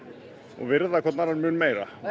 virða hvorn annan mun meira þetta